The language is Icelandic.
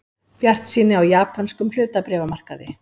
Bjartsýni á japönskum hlutabréfamarkaði